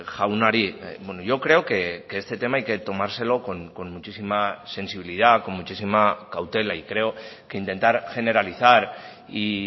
jaunari yo creo que este tema hay que tomárselo con muchísima sensibilidad con muchísima cautela y creo que intentar generalizar y